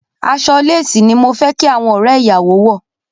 Aṣọ lésìì ní mo fẹ́ kí àwọn ọ̀rẹ́ ìyàwó wọ̀.